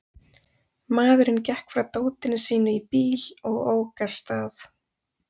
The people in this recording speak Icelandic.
Maðurinn gekk frá dótinu sínu í bíl og ók af stað.